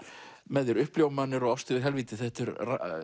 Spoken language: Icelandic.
með þér Uppljómanir og árstíð í helvíti þetta er